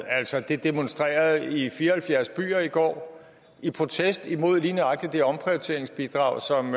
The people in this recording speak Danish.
demonstrerede man i fire og halvfjerds byer i går i protest mod lige nøjagtig det omprioriteringsbidrag som